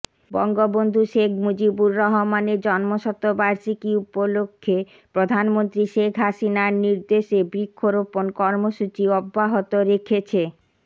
বঙ্গবন্ধু শেখ মুজিবুর রহমানের জন্মশতবার্ষিকী উপলক্ষে প্রধানমন্ত্রী শেখ হাসিনার নির্দেশে বৃক্ষরোপণ কর্মসূচি অব্যাহত রেখেছে